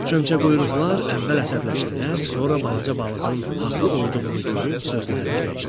Çömçəquyruqlar əvvəl əsəbləşdilər, sonra balaca balığın haqlı olduğunu görüp sözlərini dəyişdilər.